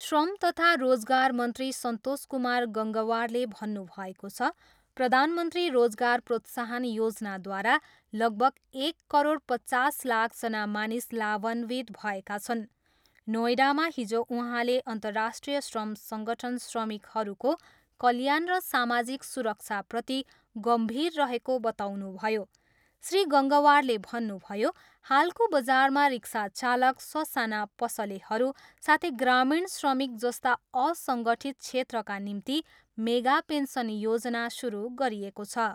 श्रम तथा रोजगार मन्त्री सन्तोष कुमार गङ्गवारले भन्नुभएको छ, प्रधानमन्त्री रोजगार प्रोत्साहन योजनाद्वारा लगभग एक करोड पचास लाखजना मानिस लाभान्वित भएका छन्। नोएडामा हिजो उहाँले अन्तराष्ट्रिय श्रम सङ्गठन श्रमिकहरूको कल्याण र सामाजिक सुरक्षाप्रति गम्भीर रहेको बताउनुभयो। श्री गङ्गवारले भन्नुभयो, हालको बजारमा रिक्सा चालक, ससाना पसलेहरू साथै ग्रामीण श्रमिकजस्ता असङ्गठित क्षेत्रका निम्ति मेगा पेन्सन योजना सुरु गरिएको छ।